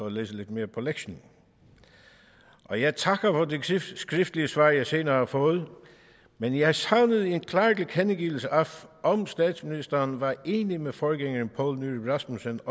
at læse lidt mere på lektien og jeg takker for det skriftlige svar jeg senere har fået men jeg savnede en klar tilkendegivelse af om statsministeren var enig med forgængeren poul nyrup rasmussen